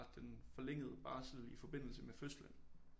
Den forlængede barsel i forbindelse med fødslen